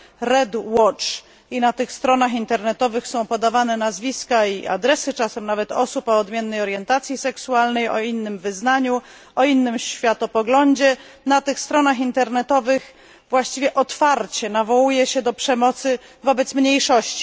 Red Watch i na tych stronach internetowych są podawane nazwiska, czasem nawet i adresy osób o odmiennej orientacji seksualnej, o innym wyznaniu, o innym światopoglądzie. Na tych stronach internetowych właściwie otwarcie nawołuje się do przemocy wobec mniejszości.